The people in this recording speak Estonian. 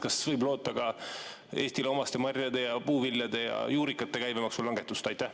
Kas võib loota Eestile omaste marjade, puuviljade ja juurikate käibemaksu langetust?